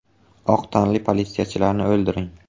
Oq tanli politsiyachilarni o‘ldiring”.